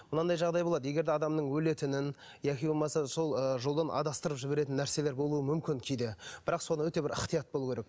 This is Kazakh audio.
мынандай жағдай болады егер де адамның өлетінін яки болмаса сол ы жолын адастырып жіберетін нәрселер болуы мүмкін кейде бірақ сол өте бір ықтият болу керек